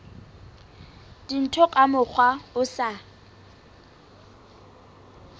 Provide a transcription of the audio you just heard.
dintho ka mokgwa o sa